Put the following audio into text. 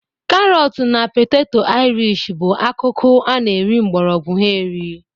Karọtụ na peteto Ịrịsh bụ akụkụ a na-eri mgbọrọgwọ ha eri.